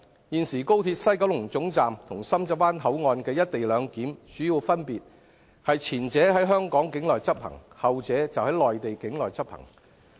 現時高鐵西九龍總站與深圳灣口岸的"一地兩檢"主要分別是，前者在香港境內執行，後者則在內地境內執行。